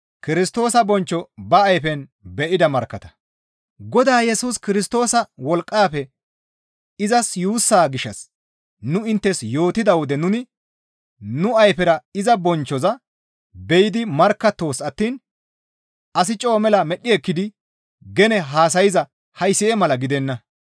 Godaa Yesus Kirstoosa wolqqafe izas yuussa gishshas nu inttes yootida wode nuni nu ayfera iza bonchchoza be7idi markkattoos attiin asi coo mela medhdhi ekkidi gene haasayza haysi7e mala gidenna.